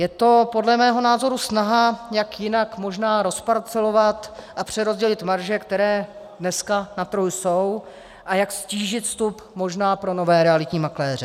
Je to podle mého názoru snaha, jak jinak možná rozparcelovat a přerozdělit marže, které dneska na trhu jsou, a jak ztížit vstup možná pro nové realitní makléře.